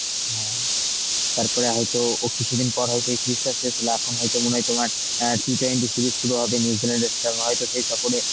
হ্যাঁ তারপরে হয়তো ও কিছুদিন পর হয়তো এই series টা শেষ হলো, এখন হয়তো মনে হয় তোমার অ্যাঁ T twenty series শুরু হবে New Zealand এর সঙ্গে হয়তো সেই